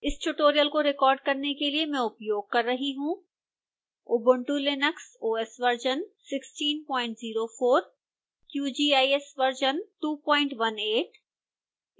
इस tutorial को record करने के लिए मैं उपयोग कर रही हूँ